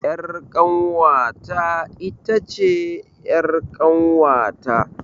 Ƴar kanwata itace ƴar kanwata